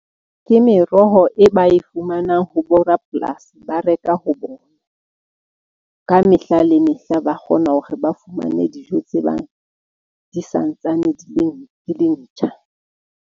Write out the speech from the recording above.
Ke meroho e ba e fumanang ho bo rapolasi. Ba reka ho bona ka mehla, le mehla ba kgona hore ba fumane dijo tse bang di santsane di le ntjha.